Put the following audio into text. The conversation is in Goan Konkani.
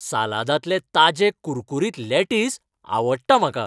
सालादांतलें ताजें कुरकुरीत लेटीस आवडटा म्हाका.